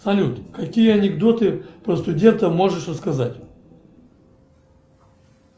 салют какие анекдоты про студентов можешь рассказать